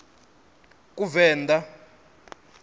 kuvenḓa